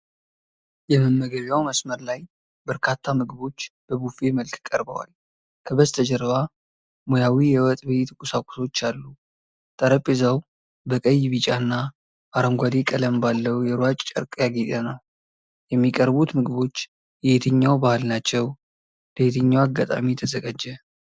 የመመገቢያ መስመር ላይ በርካታ ምግቦች በቡፌ መልክ ቀርበዋል። ከበስተጀርባ ሙያዊ የወጥ ቤት ቁሳቁሶች አሉ። ጠረጴዛው በቀይ፣ ቢጫ እና አረንጓዴ ቀለም ባለው የሯጭ ጨርቅ ያጌጠ ነው። የሚቀርቡት ምግቦች የየትኛው ባህል ናቸው? ለየትኛው አጋጣሚ ተዘጋጀ?